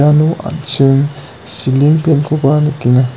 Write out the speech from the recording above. iano an·ching siling fan-koba nikenga.